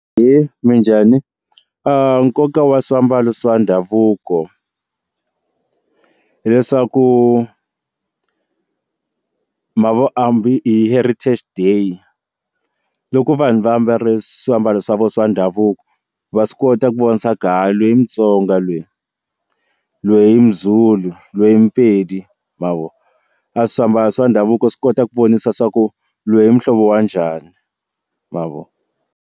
Ahee, minjhani? nkoka wa swiambalo swa ndhavuko hileswaku ma vo hambi hi heritage day loko vanhu vaambale swiambalo swa vona swa ndhavuko va swi kota ku vona swa ku loyi i mutsonga loyi loyi i muzulu loyi i mupedi ma vo a swiambalo swa ndhavuko swi kota ku vonisa swa ku loyi i muhlovo wa njhani ma vo.